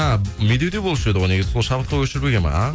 ааа медеуде болушы еді ғой ғой негізі шабытқа көшірілген ба ааа